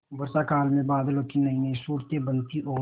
वर्षाकाल में बादलों की नयीनयी सूरतें बनती और